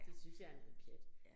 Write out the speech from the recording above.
Det synes jeg er noget pjat